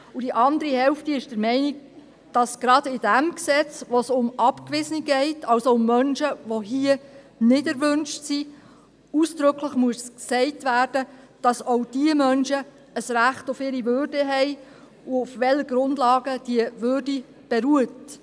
Und die andere Hälfte ist der Meinung, dass gerade in diesem Gesetz, in dem es um Abgewiesene geht, also um Menschen, die hier nicht erwünscht sind, ausdrücklich gesagt werden muss, dass auch diese Menschen ein Recht auf ihre Würde haben, und auf welchen Grundlagen diese Würde beruht.